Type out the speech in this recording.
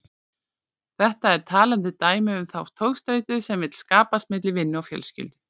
Þetta er talandi dæmi um þá togstreitu sem vill skapast milli vinnu og fjölskyldu.